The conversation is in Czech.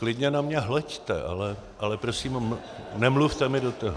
Klidně na mě hleďte, ale prosím nemluvte mi do toho.